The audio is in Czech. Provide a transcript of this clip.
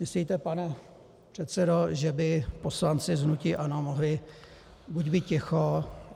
Myslíte, pane předsedo, že by poslanci z hnutí ANO mohli buď být ticho...